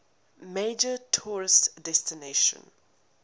major tourist destination